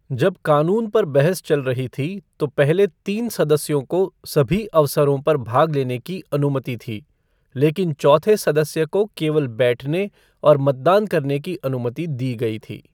जब कानून पर बहस चल रही थी तो पहले तीन सदस्यों को सभी अवसरों पर भाग लेने की अनुमति थी, लेकिन चौथे सदस्य को केवल बैठने और मतदान करने की अनुमति दी गई थी।